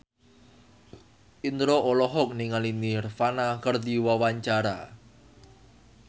Indro olohok ningali Nirvana keur diwawancara